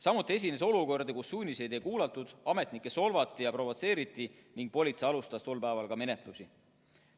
Samuti esines olukordi, kus suuniseid ei kuulatud, ametnikke solvati ja provotseeriti ning politsei alustas tol päeval ka menetlusi.